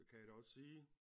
Kan jeg da også sige